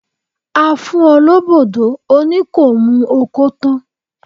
A fún ọ lóbò dó, o ní kò mu okó tán